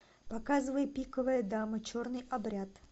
показывай пиковая дама черный обряд